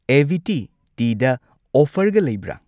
ꯑꯦꯚꯤꯇꯤ ꯇꯤ ꯗ ꯑꯣꯐꯔꯒ ꯂꯩꯕ꯭ꯔꯥ?